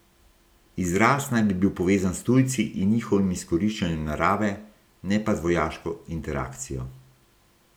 Izraz naj bi bil povezan s tujci in njihovim izkoriščanjem narave, ne pa z vojaško interakcijo.